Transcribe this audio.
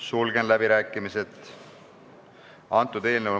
Sulgen läbirääkimised.